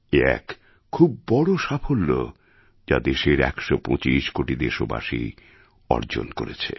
এ এক খুব বড় সাফল্য যা দেশের ১২৫ কোটি দেশবাসী অর্জন করেছে